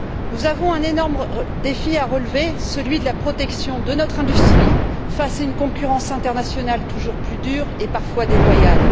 Nous avons un énorme défi à relever, celui de la protection de notre industrie face à une concurrence internationale toujours plus dure et parfois déloyale.